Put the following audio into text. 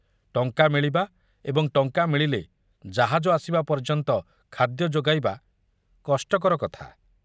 ଟଙ୍କା ମିଳିବା ଏବଂ ଟଙ୍କା ମିଳିଲେ ଜାହାଜ ଆସିବା ପର୍ଯ୍ୟନ୍ତ ଖାଦ୍ୟ ଯୋଗାଇବା କଷ୍ଟକର କଥା।